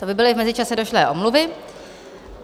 To by byly v mezičase došlé omluvy.